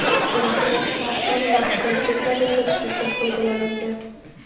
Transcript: ulardan smartfon va gadjetlar yaratish uchun foydalanilgan.